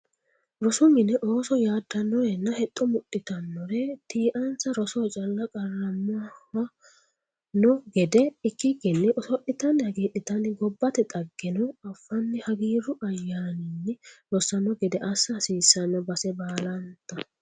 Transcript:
Rosu mine ooso yadanorenna hexxo mudhittanore tii"insa rosoho calla qarramano gede ikkikkinni oso'littani hagiidhittanni gobbate dhaggeno affanni hagiiru ayyanninni rosano gede assa hasiisano base baallanta.